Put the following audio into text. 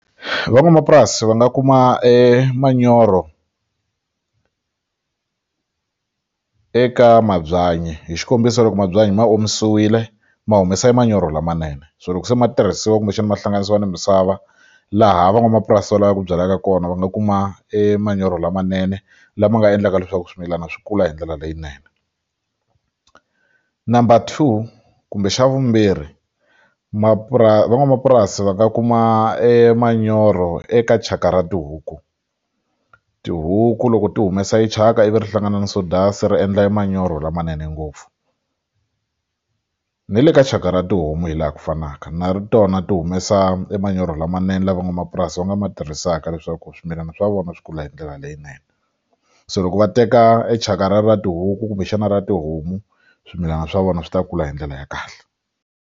Van'wamapurasi va nga kuma e manyoro eka mabyanyi hi xikombiso loko mabyanyi ma omisiwile ma humesa manyoro lamanene so loko se ma tirhisiwa kumbexana ma hlanganisiwa ni misava laha van'wamapurasi va lavaka ku byalaka kona va nga kuma e manyoro lamanene lama nga endlaka leswaku swimilana swi kula hi ndlela leyinene number two kumbe xa vumbirhi van'wamapurasi va nga kuma e manyoro eka thyaka ra tihuku tihuku loko ti humesa e thyaka ivi ri hlangana na ri endla manyoro lamanene ngopfu ni le ka thyaka ra tihomu hi laha ku fanaka na tona ti humesa manyoro lamanene la van'wamapurasi va nga ma tirhisaka leswaku swimilana swa vona swi kula hi ndlela leyinene so loko va teka e chaka ra ra tihuku kumbexana ra tihomu swimilana swa vona swi ta kula hi ndlela ya kahle.